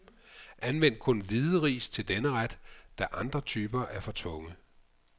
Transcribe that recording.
Anvend kun hvide ris til denne ret, da andre typer er for tunge.